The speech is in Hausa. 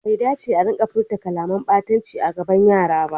Bai dace a rika furta kalaman ɓatanci a gaban yara ba.